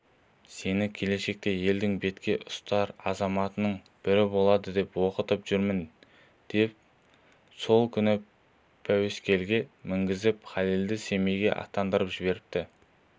сені келешекте елдің бетке ұстар азаматының бірі болады деп оқытып жүрмін деп сол күні пәуескеге мінгізіп халелді семейге аттандырып жіберіпті